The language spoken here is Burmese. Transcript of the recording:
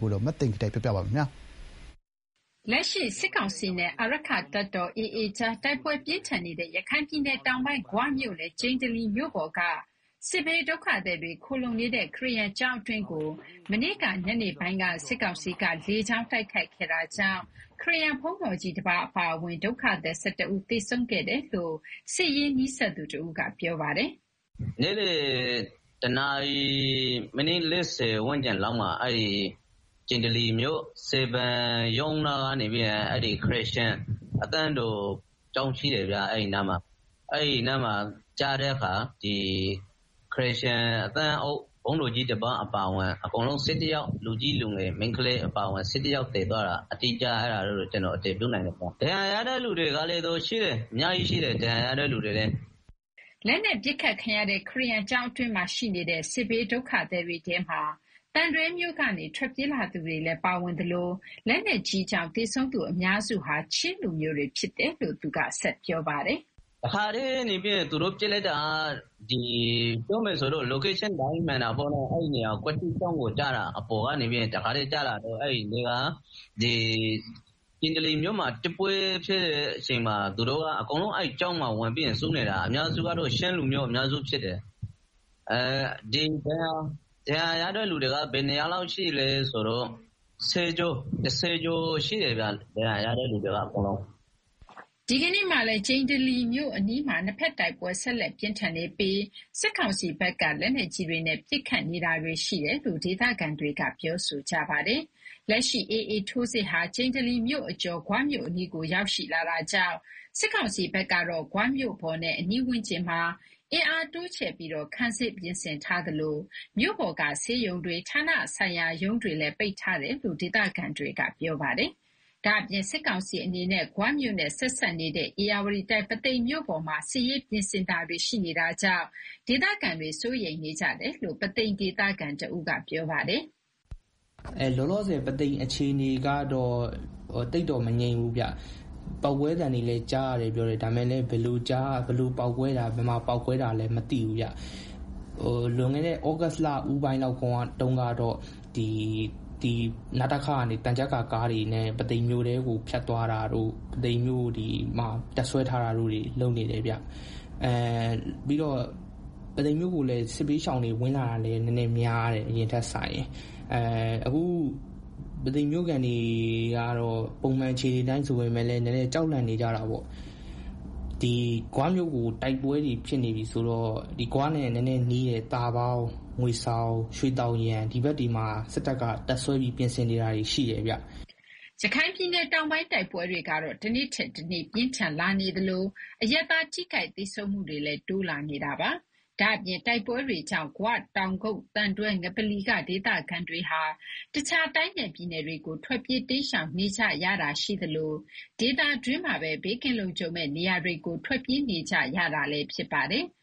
ကိုတော့ မသိင်္ဂီထိုက်က တင်ပြပါမယ်။ လက်ရှိ စစ်ကောင်စီနဲ့ အာရက္ခတပ်တော် AA ကြား တိုက်ပွဲပြင်းထန်နေတဲ့ ရခိုင်ပြည်နယ် တောင်ပိုင်း ဂွမြို့နယ် ကျိန္တလီမြို့ပေါ်က စစ်ဘေးဒုက္ခသည်တွေ ခိုလှုံနေတဲ့ ခရစ်ယာန်ကျောင်းအတွင်းကို ကြာသပတေး ညနေပိုင်းက စစ်ကောင်စီက လေကြောင်းတိုက်ခိုက်ခဲ့တာကြောင့် ခရစ်ယာန်ဘုန်တော်ကြီးတပါး အပါအဝင် ဒုက္ခသည် ၁၁ ဦးသေဆုံးခဲ့တယ်လို့ စစ်ရေးနဲ့ နီးစပ်သူတဦးက ပြောပါတယ်။ “ နေ့လည် ၁ နာရီ မိနစ် ၄ဝ လောက်မှာ ကျန္တိလီမြို့ စည်ပင်ရုံးနားက ခရစ်ယာန်အသင်းတော်ကျောင်း ရှိတယ်ဗျာ၊ အဲဒီနားမှာ ကျတဲ့အခါ ခရစ်ယာန်ဘုန်းတော်ကြီးတပါး အပါအဝင် အကုန်လုံး လူငယ်မိန်းကလေးအပါအဝင် ၁၁ ယောက် သေသွားတာ အတည်ပြုနိုင်တယ်။ ဒဏ်ရာရတဲ့သူတွေလည်း အများကြီးရှိတယ်။” အရပ်သားတွေ သေဆုံးရမှုနဲ့ ပတ်သက်လို့တော့ VOA က သီးခြားအတည်မပြုနိုင်ခြင်း မရှိသေးပါဘူး။ လက်နက်ပစ်ခတ်ခံရတဲ့ ခရစ်ယာန်ကျောင်းအတွင်းမှာရှိနေတဲ့ စစ်ဘေးဒုက္ခသည်တွေထဲမှာ သံတွဲမြို့ကနေ ထွက်ပြေး လာသူတွေလည်း ပါဝင်သလို လက်နက်ကြီးကြောင့် သေဆုံးသူ အများစုဟာ ချင်းလူမျိုးတွေ ဖြစ်တယ်လို့လည်း သူက ဆက်ပြောပါတယ်။ “ တခါတည်း သူတို့ ပစ်လိုက်တာက နေရာ အတိအကျမှန်တာ ကျောင်းကို ကွက်တိကျတာ ကျိန္တလီမှာ တိုက်ပွဲ စဖြစ်တဲ့ နေ့ကတည်းက သူတို့က အကုန်လုံး အဲဒီကျောင်းမှာ ဝင်ပြီးတော့ စုနေကြတာ အများစုက ချင်းလူမျိုးအများစုဖြစ်တယ်။ ဒဏ်ရာရတဲ့သူတွေကလည်း ၁ဝ ယောက်ကျော်လောက်ရှိတယ်။” ဒီကနေ့မှာလည်း ကျိန္တလီမြို့အနီးမှာ နှစ်ဘက် တိုက်ပွဲ ဆက်လက်ပြင်းထန်နေပြီး စစ်ကောင်စီဘက်က လက်နက်ကြီးတွေနဲ့ ပစ်ခတ်နေတာတွေ ရှိတယ်လို့ ဒေသခံတွေက ပြောဆိုကြပါတယ်။ လက်ရှိ AA ထိုးစစ်ဟာ ကျိန္တလီမြို့အကျော် ဂွမြို့အနီးကို ရောက်ရှိလာတာကြောင့် စစ်ကောင်စီဘက်ကတော့ ဂွမြို့ပေါ်နဲ့ အနီးဝန်းကျင်မှာ အင်းအားတိုးချဲ့ပြီးတော့ ခံစစ် ပြင်ဆင်ထားသလို မြို့ပေါ်က ဆေးရုံတွေ ဌာနဆိုင်ရာရုံးတွေလည်း ပိတ်ထားတယ်လို့ ဒေသခံတွေကပြောပါတယ်။ ဒါအပြင့် စစ်ကောင်စီအနေနဲ့ ဂွမြို့နဲ့ ဆက်စပ်နေတဲ့ ဧရာဝတီတိုင်း ပုသိမ်မြို့ပေါ်မှာ စစ်ရေးပြင်ဆင်တာတွေ ရှိနေတာကြောင့် ဒေသခံတွေ စိုးရိမ်နေကြတယ်လို့ ပုသိမ်ဒေသခံတဦးက ပြောပါတယ်။ “ လောလောဆယ် ပုသိမ်အခြေအနေကတော့ သိမ်တော့ မငြိမ်ဘူးဗျာ ပေါက်ကွဲသံတွေလည်း ကြားရတယ်ပြောတယ် ဒါပေမယ့်လည်း ဘယ်လိုပေါက်ကွဲတာ ဘယ်မှာပေါက်ကွဲတာလဲ မသိဘူး။ လွန်ခဲ့တဲ့ သြဂုတ်လ ဦးပိုင်းလောက်ကတော့ (နတခ)ကနေ သံချပ်ကာ ကားတွေနဲ့ ပုသိမ်မြို့ထဲကို ဖြတ်သွားတာတို့ ပုသိမ်မှာ တပ်စွဲထားတာတွေ လုပ်နေတယ်ဗျာ။ ပြီးတော့ ပုသိမ်မြို့ကို စစ်ဘေးရှောင်တွေလည်း ဝင်လာတာ နည်းနည်းများတယ်။ အရင်ထက်စာရင် အခု ပုသိမ်မြို့ခံတွေကတော့ ပုံမှန်အခြေအနေဆိုပေမယ့် နည်းနည်း ကြောက်လန့် နေကြတာပေါ့။ ဂွမြို့မှာ တိုက်ပွဲတွေ ဖြစ်နေပြီဆိုတော့ ဂွနဲ့ နည်းနည်းနီးတဲ့ သာပေါင်း ငွေဆောင် ရွှေသောင်ယံ ဒီဘက်တွေမှာ စစ်တပ်က တပ်စွဲပြီး ပြင်ဆင်နေတာတွေ ရှိတယ်ဗျာ။” ရခိုင်ပြည်နယ်တောင်ပိုင်း တိုက်ပွဲတွေကတော့ တနေ့ထက်တနေ့ ပြင်းထန်လာနေသလို အရပ်သား ထိခိုက်သေဆုံးမှုတွေလည်း တိုးလာနေတာပါ။ ဒါ့အပြင် တိုက်ပွဲတွေကြောင့် ဂွ ၊ တောင်ကုတ်၊ သံတွဲ ငပလီက ဒေသခံတွေဟာ တခြား တိုင်းနဲ့ပြည်နယ်တွေကို ထွက်ပြေး တိမ်းရှောင်နေကြရတာ ရှိသလို ဒေသတွင်းမှာပဲ ဘေးကင်းလုံခြုံမယ့်နေရာတွေကို ထွက်ပြေးနေကြရတာလည်းဖြစ်ပါတယ်။